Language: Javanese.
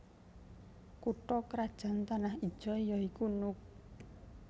Kutha krajan Tanah Ijo ya iku Nuuk